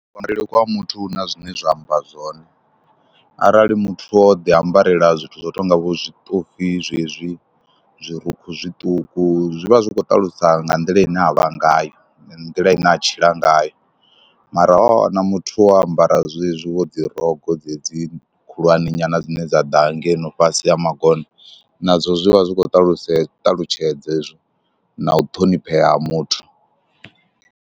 Kuambarele kwa muthu hu na zwine zwa amba zwone arali muthu o ḓiambarela zwithu zwo no tou nga vho zwiṱofi zwezwi, zwirukhu zwiṱuku zwi vha zwi khou ṱalusa nga nḓila ine a vha ngayo, nga nḓila ine a tshila ngayo mara wa wana muthu wo ambara zwezwi wo dzi rogo dzedzi khulwane nyana dzine dza ḓa hangeno fhasi ha magona nazwo zwi vha zwi khou ṱalusa ṱalutshedza na u ṱhoniphea ha muthu.